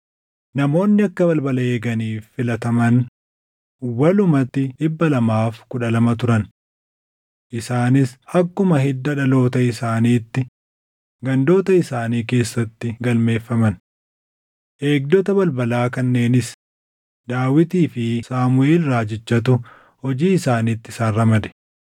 Namoonni akka balbala eeganiif filataman walumatti 212 turan. Isaanis akkuma hidda dhaloota isaaniitti gandoota isaanii keessatti galmeeffaman. Eegdota balbalaa kanneenis Daawitii fi Saamuʼeel raajichatu hojii isaaniitti isaan ramade.